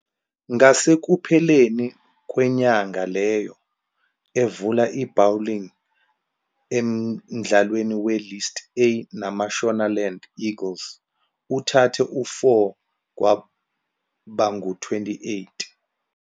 Ngasekupheleni kwenyanga leyo, evula i-bowling emdlalweni we- List A neMashonaland Eagles, uthathe u-4 kwabangu-28.